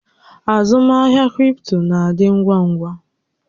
Azụmahịa cripto na-adị ngwa ngwa.